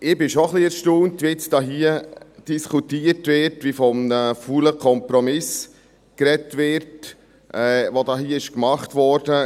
Ich bin schon ein wenig erstaunt, wie jetzt hier diskutiert wird, wie von einem faulen Kompromiss gesprochen wird, der hier gemacht wurde.